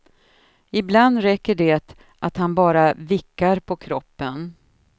Ibland räcker det att han bara vickar på kroppen.